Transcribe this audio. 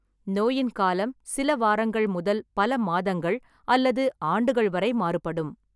நோயின் காலம் சில வாரங்கள் முதல் பல மாதங்கள் அல்லது ஆண்டுகள் வரை மாறுபடும்.